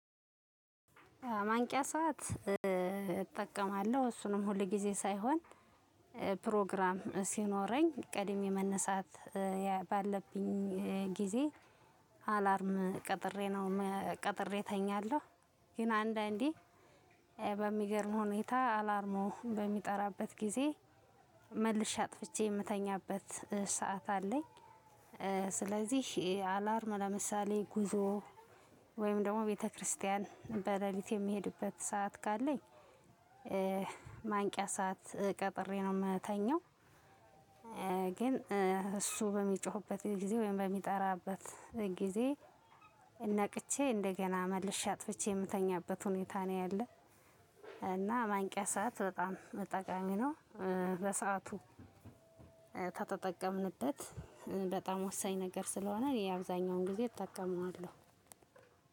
ማንቂያ ሰዓት እጠቀማለሁ። እሱንም ሁል ጊዜ ሳይሆን ፕሮግራም ሲኖረኝ ቀድሜ መነሳት ባለብኝ ጊዜ አላርም ቀጥሬ ነው ቀጥሬ እተኛለሁ ግን አንዳንዴ በሚገርም ሁኔታ አላርሙ በሚጠራበት ጊዜ መልሼ አጥፍቼ የምተኛበት ሰዓት አለኝ። ስለዚህ አላርም ለምሳሌ ጉዞ ወይም ደግሞ ቤተክርስቲያን በሌሊት የሚሄድበት ሰዓት ካለኝ ማንቂያ ሰዓት ቀጥሬ ነው የምተኛው። ግን እሱ በሚጮህበት ጊዜ ወይም በሚጠራበት ጊዜ ነቅቼ እንደገና መልሼ አጥፍቼ የምተኛበት ሁኔታ ነው ያለው እና ማንቂያ ሰዓት በጣም ጠቃሚ ነው በሰአቱ ከተጠቀምንበት በጣም ወሳኝ ነገር ስለሆነ እኔ አብዛኛውን ጊዜ እጠቀመዋለሁ።